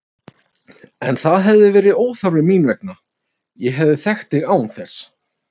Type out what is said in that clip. En það hefði verið óþarfi mín vegna, ég hefði þekkt þig án þess.